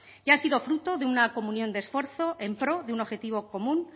y ha sido fruto de una comunión de esfuerzo en pro de un objetivo común